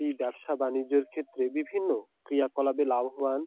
এই ব্যবসা বাণিজ্যের ক্ষেত্রে বিভিন্ন ক্রিয়াকলাপে লাভবান--